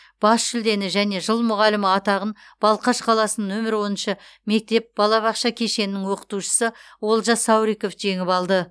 бас жүлдені және жыл мұғалімі атағын балқаш қаласының нөмір оныншы мектеп балабақша кешенінің оқытушысы олжас сауриков жеңіп алды